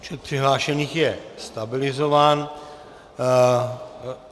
Počet přihlášených je stabilizován.